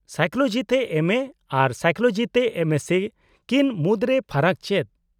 -Psychology ᱛᱮ MA ᱟᱨ psychology ᱛᱮ ᱮᱢᱹᱮᱥᱥᱤ ᱠᱤᱱ ᱢᱩᱫᱨᱮ ᱯᱷᱟᱨᱟᱠ ᱪᱮᱫ ?